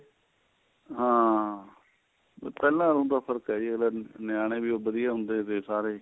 ਹਾਂ ਪਹਿਲਾਂ ਹੁਣ ਤਾਂ ਫਰਕ ਏ ਅਗਲਾ ਨਿਆਣੇ ਵੀ ਉੱਧਰ ਈ ਆਉਂਦੇ ਥੇ ਸਾਰੇ